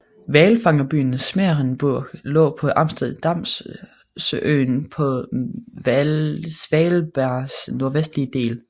Hvalfangerbyen Smeerenburg lå på Amsterdamøen på Svalbards nordvestligste del